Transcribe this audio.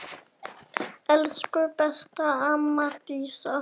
Elsku besta amma Dísa.